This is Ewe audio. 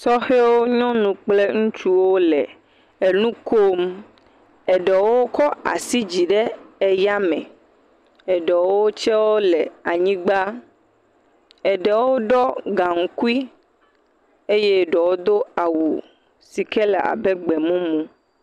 Sɔhɛwo, nyɔnu kple ŋutsuwo le enu kom, eɖewo kɔ asi yi dzi ɖe eyame, eɖewo tse wole anyigba. Eɖewo ɖɔ gaŋkui eye ɖewo do awu si ke le abe gbe mumu.